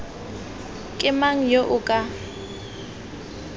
ke mang yo o ka